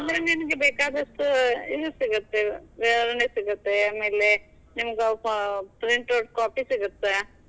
ಹುಬ್ಳೀಲ್ ಬಂದ್ರ ನಿಂಗೆ ಬೇಕಾದಷ್ಟು ಇದ್ ಸಿಗತ್ತೆ, ಇಲ್ಲೆ ವಿವರಣೆ ಸಿಗುತ್ತೆ ಆಮೇಲೆ ಪ~ print out copy ಸಿಗತ್ತೆ.